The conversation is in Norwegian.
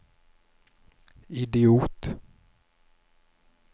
idiot